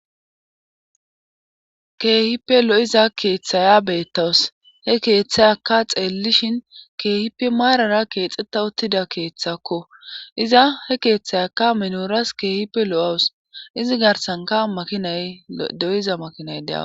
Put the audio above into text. Keehippe lo'iza keeththaya beettawus he keeththay aka xeellishin keehipe maarara keexxetta uttida keeththakko iza he keeththayaka minoras keehippe lo'owus izi garsanka makinay doyiza makinay deawa.